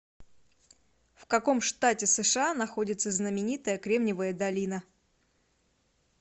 в каком штате сша находится знаменитая кремниевая долина